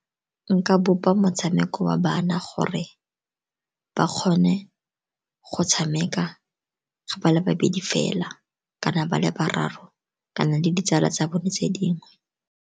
Nka bopa motshameko wa bana gore ba kgone go tshameka go ba le babedi fela, kana ba le bararo, kana le ditsala tsa bone tse dingwe.